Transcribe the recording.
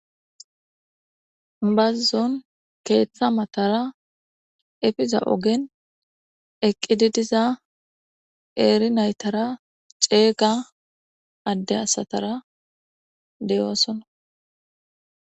Bazzon keeththa matara efiza ogen eqqididiza eeri naytara ceeyga adde asatara deyoosona